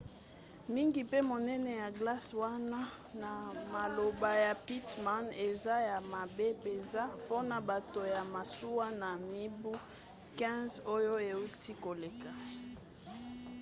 mingi mpe monene ya glace wana na maloba ya pittman eza ya mabe mpenza mpona bato ya masuwa na mibu 15 oyo euti koleka